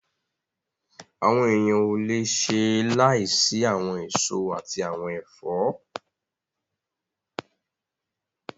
Àwọn èèyàn ò le ṣe láìsí àwọn èso àti àwọn ẹ̀fọ́